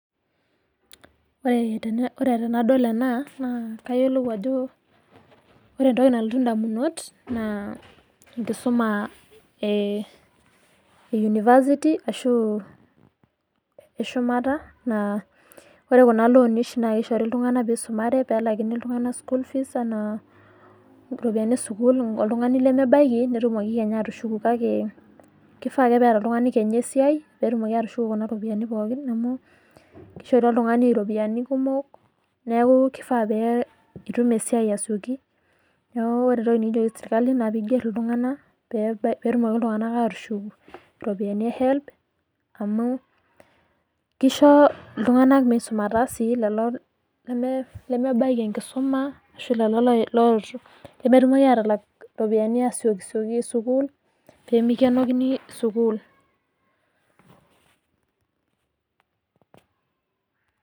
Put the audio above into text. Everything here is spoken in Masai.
Ore tenadol ena, naa kayiolou ajo ore entoki nalotu indamunot, naa enkisuma e University ashu eshumata naa ore kuna loni oshi na kishori iltung'anak pisumare pelakini iltung'anak school fees enaa ropiyiani esukuul oltung'ani lemebaiki, netumoki kenya atushuku kake kifaa ake peeta oltung'ani kenya esiai, petumoki atushuku kuna ropiyiani pooki amu kishori oltung'ani ropiyiani kumok, neeku kifaa pitum esiai asioki. Neeku ore entoki nikijoki serkali na piger iltung'anak, petumoki iltung'anak atushuk iropiyiani e Helb, amu kisho iltung'anak misumata si lelo lemebaiki enkisuma ashu lolo lemetumoki atalak iropiyiani asiokisioki sukuul, pemikenokini sukuul.